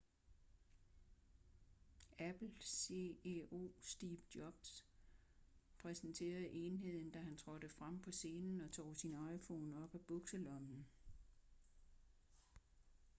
apple ceo steve jobs præsenterede enheden da han trådte frem på scenen og tog sin iphone op af bukselommen